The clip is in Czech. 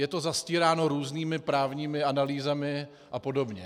Je to zastíráno různými právními analýzami a podobně.